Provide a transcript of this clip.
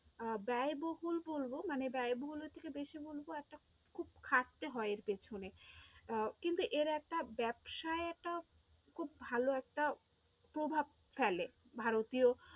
আহ ব্যয়বহুল বলবো, মানে ব্যয়বহুলের থেকে বেশি বলবো একটা খুব খাটতে হয় এর পেছনে আহ কিন্তু এর একটা ব্যবসায় একটা খুব ভালো একটা প্রভাব ফেলে ভারতীয়